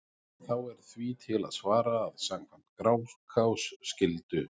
Þá er því til að svara að samkvæmt Grágás skyldu